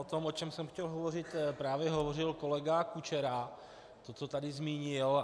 O tom, o čem jsem chtěl hovořit, právě hovořil kolega Kučera, který to tady zmínil.